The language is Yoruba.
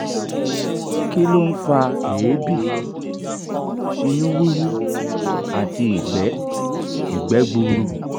kí ló ń fa eebi ìnu wuwu àti igbe igbe gbuuru?